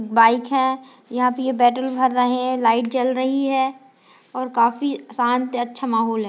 Bike है यहाँ पर यह पेट्रोल भर रहे है लाइट जल रही है और काफी शांत अच्छा माहौल है।